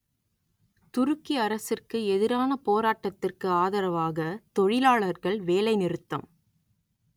துருக்கி அரசிற்கு எதிரான போராட்டத்திற்கு ஆதரவாக தொழிலாளர்கள் வேலைநிறுத்தம்